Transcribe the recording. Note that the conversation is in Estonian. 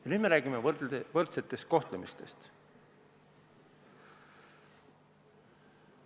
Ja nüüd me räägime võrdsest kohtlemisest!